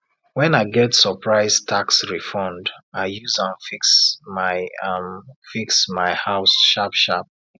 when i get surprise tax refund i use am fix my am fix my house sharpsharp